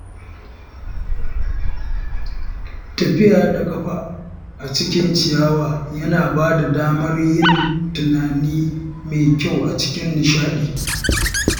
Tafiya da ƙafa a cikin ciyawa yana bada damar yin tunani mai kyau cikin nishaɗi.